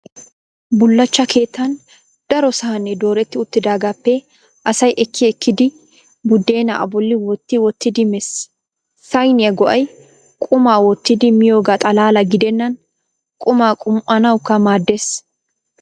Bullachcha keettan daro sahnee dooretti uttidaagaappe asay ekki ekkidi buddeena a bolli wotti wottidi mees. Sahniyaa go'ay qumaa wottidi miyoogaa xalaala gidennan qumaa qum"anawukka maaddees.